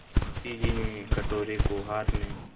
मुंशी जी ने कटोरे को हाथ में